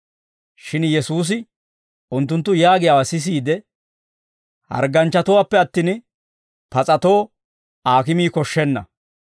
Shin Yesuusi unttunttu yaagiyaawaa sisiide, «Hargganchchatuwaappe attin, pas'atoo aakimii koshshenna.